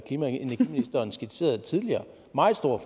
energiministeren skitserede tidligere meget stor